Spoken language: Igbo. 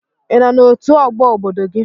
Ị nọ n'otu ọgbọ obodo gị?